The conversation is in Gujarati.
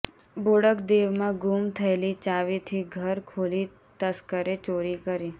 બોડક દેવમાં ગુમ થયેલી ચાવીથી ઘર ખોલી તસ્કરે ચોરી કરી